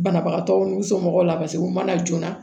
Banabagatɔw n'u somɔgɔw la u ma na joona